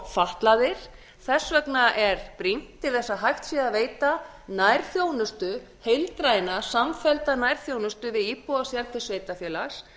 fatlaðir þess vegna er brýnt til þess að hægt sé að veita nærþjónustu heildræna samfellda nærþjónustu við íbúa sérhvers sveitarfélag